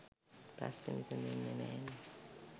ප්‍රශ්නෙ විසදෙන්නෙ නෑනෙ.